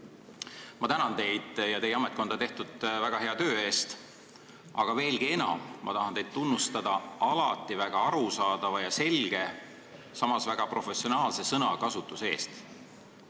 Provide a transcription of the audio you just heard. Ma tänan teid ja teie ametkonda tehtud väga hea töö eest, aga veelgi enam ma tahan teid tunnustada alati väga arusaadava ja selge, samas väga professionaalse sõnakasutuse eest!